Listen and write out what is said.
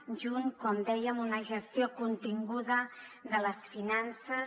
junt com dèiem a una gestió continguda de les finances